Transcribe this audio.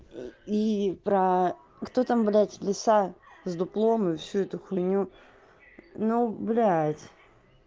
и про кто там блять лиса с дуплом и всю эту хуйню ну блядь